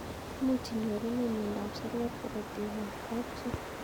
Much inyorune miondop seriat karatik ab kapchii